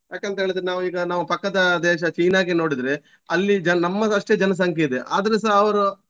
ಯಾಕಂತ್ಹೇಳಿದ್ರೆ ನಾವು ಈಗ ನಾವು ಪಕ್ಕದ ದೇಶ ಚೀನಾಗೆ ನೋಡಿದ್ರೆ ಅಲ್ಲಿ ಜನ~ ನಮ್ಮದಷ್ಟೇ ಜನಸಂಖ್ಯೆ ಇದೆ ಆದ್ರೆ ಸ ಅವರು.